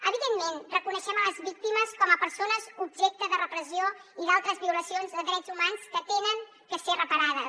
evidentment reconeixem les víctimes com a persones objecte de repressió i d’altres violacions de drets humans que han de ser reparades